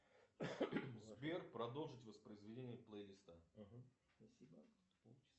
сбер продолжить воспроизведение плейлиста